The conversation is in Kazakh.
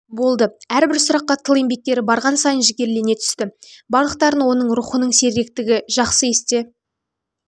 болды әрбір сұраққа тыл еңбеккері барған сайын жігерлене түсті барлықтарын оның рухының сергектігі жақсы есте